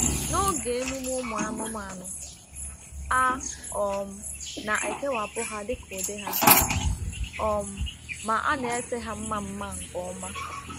N’oge emume anụmanụ, a um na-ekewapụ ha dịka ụdị ha, um ma a na-ese ha mma mma nke ọma